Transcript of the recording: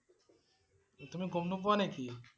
তুমি গম নোপোৱা নেকি?